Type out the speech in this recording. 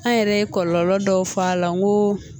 An yɛrɛ ye kɔlɔlɔ dɔw fɔ a la ko